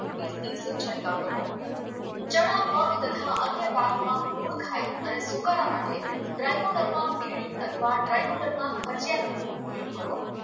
તીસ દિવસે છંટકાવ કરવો ચણા મગ તથા અન્ય પાકોમાં મૂલખાઈ અને તુકારા માટે ડ્રાયકોડનમાં વિરડી અથવા ડ્રાયકોડનમાં હજિયાનંગનો ઉપયોગ કરવો